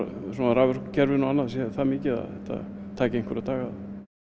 á raforkukerfinu sé það mikið að þetta taki einhverja daga